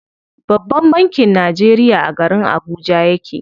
Babban bankin Najeriya a garin Abuja yake.